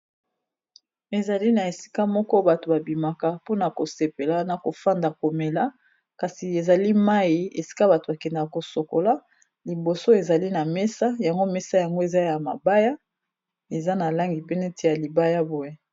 ezali na esika moko bato babimaka mpona kosepela na kofanda komela kasi ezali mai esika bato bakendaka kosokola liboso ezali na mesa yango mesa yango eza ya mabaya eza na langi pene te ya libaya boye